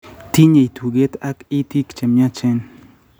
Tinyei tuget ak itiik che myachen.